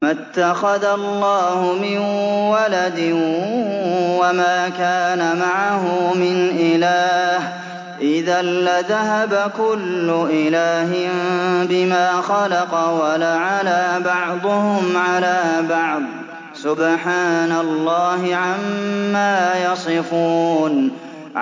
مَا اتَّخَذَ اللَّهُ مِن وَلَدٍ وَمَا كَانَ مَعَهُ مِنْ إِلَٰهٍ ۚ إِذًا لَّذَهَبَ كُلُّ إِلَٰهٍ بِمَا خَلَقَ وَلَعَلَا بَعْضُهُمْ عَلَىٰ بَعْضٍ ۚ سُبْحَانَ اللَّهِ عَمَّا يَصِفُونَ